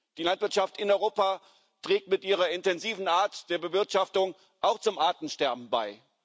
Die Landwirtschaft in Europa trägt mit ihrer intensiven Art der Bewirtschaftung auch zum Artensterben bei.